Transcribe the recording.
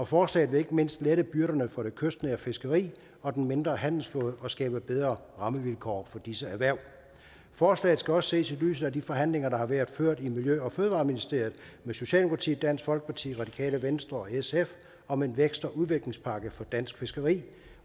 forslaget vil ikke mindst lette byrderne for det kystnære fiskeri og den mindre handelsflåde og skabe bedre rammevilkår for disse erhverv forslaget skal også ses i lyset af de forhandlinger der har været ført i miljø og fødevareministeriet med socialdemokratiet dansk folkeparti radikale venstre og sf om en vækst og udviklingspakke for dansk fiskeri